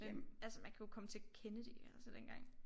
Øh altså man kunne jo komme til Kennedy altså dengang